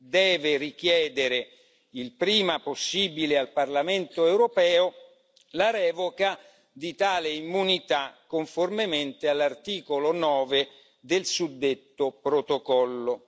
deve richiedere il prima possibile al Parlamento europeo la revoca di tale immunità, conformemente all'articolo 9 del suddetto protocollo.